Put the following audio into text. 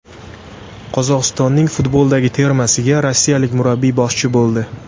Qozog‘istonning futboldagi termasiga rossiyalik murabbiy boshchi bo‘ldi.